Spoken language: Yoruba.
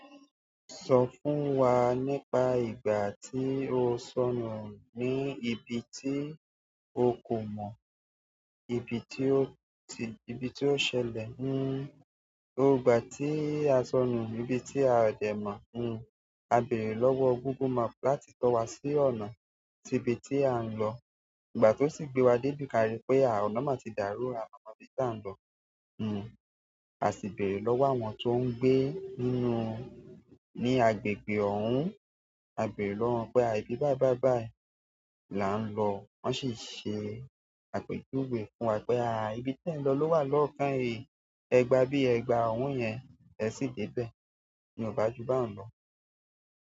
Sọ fún wa nípa ìgbà tí o sọnù ní ibi tí o kò mọ̀, ibi tí o ti-- ibi tí ó ṣẹlẹ̀. Hmm. Ò gbà tí a sọnù níbi tí a ò dẹ̀ mọ̀, hmm, a bèrè lọ́wọ́ Google Map láti tọ wa sí ọ̀nà síbi tí a ń lọ. Ìgbà tó sì gbé wa dé ibi, ka rí pé àà ọ̀nà máa ti dàrú, àà ọ̀nà bí tí a ń lọ, hmm, a sì bèrè lọ́wọ́ àwọn tó ń gbé nínú-- ní agbègbè ọ̀hún. A bèrè lọ́wọ́ wọn pé àbí bá bá báì là ń lọ. Wọn sì ṣe àpèjúwe fún wa pé àà ibi tí ẹ̀ ń lọ ló wà lọ́ọ̀kan, ẹ gba bí ẹ gba ọ̀hún yẹn, ẹ sì dé bẹ́ẹ̀. Ni ò bá ju báyìí lọ.